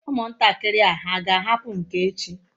Umuntakiri a ha ga ahapu nke echi?